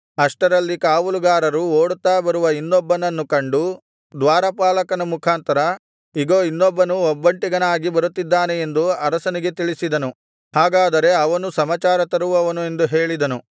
ಅಷ್ಟರಲ್ಲಿ ಕಾವಲುಗಾರರು ಓಡುತ್ತಾ ಬರುವ ಇನ್ನೊಬ್ಬನನ್ನು ಕಂಡು ದ್ವಾರಪಾಲಕನ ಮುಖಾಂತರ ಇಗೋ ಇನ್ನೊಬ್ಬನು ಒಬ್ಬಂಟಿಗನಾಗಿ ಬರುತ್ತಿದ್ದಾನೆ ಎಂದು ಅರಸನಿಗೆ ತಿಳಿಸಿದನು ಆಗ ಅರಸನು ಹಾಗಾದರೆ ಅವನೂ ಸಮಾಚಾರ ತರುವವನು ಎಂದು ಹೇಳಿದನು